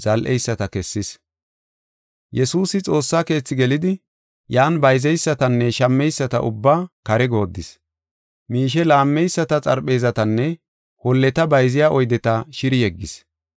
Yesuusi Xoossa Keethi gelidi, yan bayzeysatanne shammeyisata ubbaa kare goodis. Miishe laammeyisata xarpheezatanne holleta bayziya oydeta shiri yeggis.